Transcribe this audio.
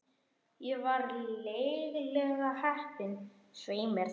Ég var lygilega heppin, svei mér þá.